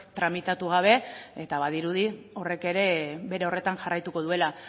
tramitatu gabe eta badirudi horrek ere bere horretan jarraituko duela